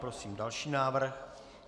Prosím další návrh.